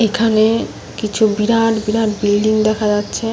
এখানে কিছু বিরাট বিরাট বিল্ডিং দেখা যাচ্ছে।